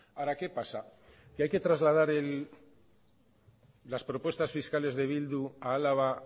ahora qué pasa que hay que trasladar las propuestas fiscales de bildu a álava